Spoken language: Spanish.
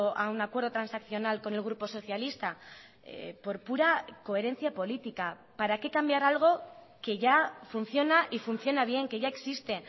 a un acuerdo transaccional con el grupo socialista por pura coherencia política para qué cambiar algo que ya funciona y funciona bien que ya existe